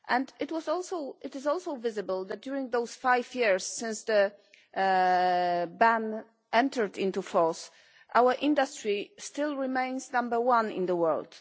It is also visible that during those five years since the ban entered into force, our industry still remains number one in the world.